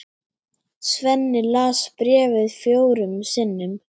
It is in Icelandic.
Svenni les bréfið fjórum sinnum.